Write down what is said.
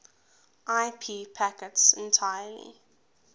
ip packets entirely